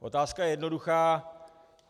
Otázka je jednoduchá.